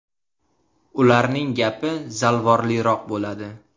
Ularning gapi zalvorliroq bo‘ladi.